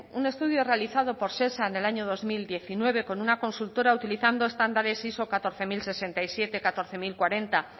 un estudio realizado por shesa en el año dos mil diecinueve con una consultora utilizando estándares iso catorce mil sesenta y siete catorce mil cuarenta